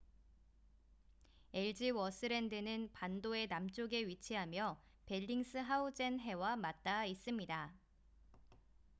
엘즈워스랜드는 반도의 남쪽에 위치하며 벨링스하우젠 해와 맞닿아 있습니다